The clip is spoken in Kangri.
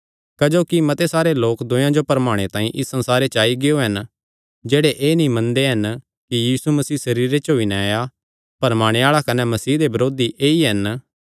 क्जोकि मते सारे लोक दूयेयां जो भरमाणे तांई इस संसारे च आई गियो हन जेह्ड़े एह़ नीं मनदे कि यीशु मसीह सरीरे च होई नैं आया भरमाणे आल़ा कने मसीह दे बरोधी ऐई हन